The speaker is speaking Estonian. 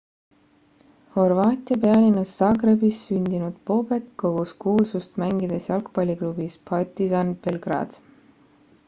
horvaatia pealinnas zagrebis sündinud bobek kogus kuulsust mängides jalgapalliklubis partizan belgrade